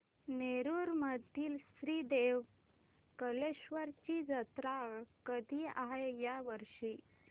नेरुर मधील श्री देव कलेश्वर ची जत्रा कधी आहे या वर्षी